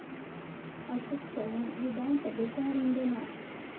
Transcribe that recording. अशोक चव्हाण विधानसभेच्या रिंगणात?